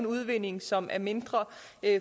udvinding som er mindre